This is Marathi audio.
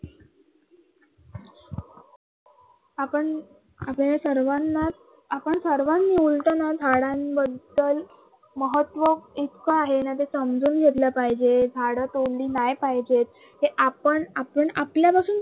आपण आपल्याला सर्वांनाच आपण सर्वांमिळून झाडांबद्दल महत्व इतक आहे ना ते समजून घेतल पाहिजे, झाडं तोडली नाही पाहिजे. ते आपण आपण आपल्यालाही